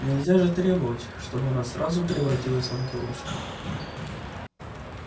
нельзя же требовать чтобы она сразу превратилась в ангелочка